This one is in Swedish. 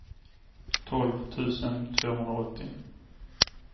tolv tusen tvåhundraåttio